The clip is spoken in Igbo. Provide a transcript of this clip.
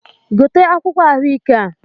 Gote akwụkwọ̇ ahụ ike a!